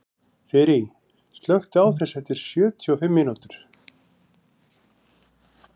Þyri, slökktu á þessu eftir sjötíu og fimm mínútur.